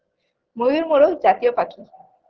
ময়ূর মোরক জাতীয় পাখি